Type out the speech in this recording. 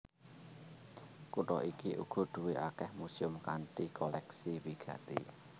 Kutha iki uga duwé akèh muséum kanthi kolèksi wigati